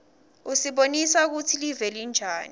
usibonisa kutsi live linjani